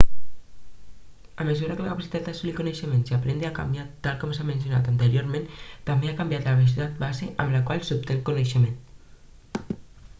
a mesura que la capacitat d'assolir coneixements i aprendre ha canviat tal com s'ha mencionat anteriorment també ha canviat la velocitat base amb la qual s'obté el coneixement